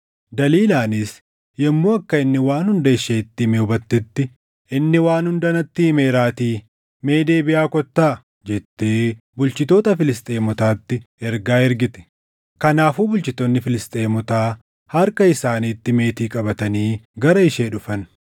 Daliilaanis yommuu akka inni waan hunda isheetti hime hubattetti, “Inni waan hunda natti himeeraatii mee deebiʼaa kottaa” jettee bulchitoota Filisxeemotaatti ergaa ergite. Kanaafuu bulchitoonni Filisxeemotaa harka isaaniitti meetii qabatanii gara ishee dhufan.